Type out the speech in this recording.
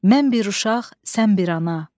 Mən bir uşaq, sən bir ana.